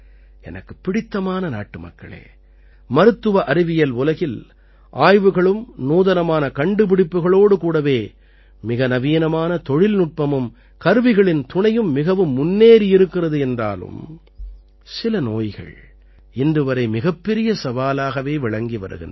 எனக்குப் பிடித்தமான நாட்டுமக்களே மருத்துவ அறிவியல் உலகில் ஆய்வுகளும் நூதனமான கண்டுப்பிடிப்புக்களோடு கூடவே மிக நவீனமான தொழில்நுட்பமும் கருவிகளின் துணையும் மிகவும் முன்னேறியிருக்கிறது என்றாலும் சில நோய்கள் இன்றுவரை மிகப்பெரிய சவாலாகவே விளங்கி வருகின்றன